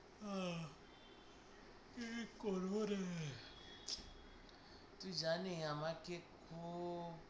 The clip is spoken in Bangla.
আহ কী করব রে? তুই জানি আমাকে খুব